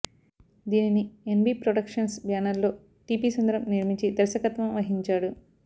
దీనిని NB productions బ్యానర్లో TP Sundaram నిర్మించి దర్శకత్వం వహించాడు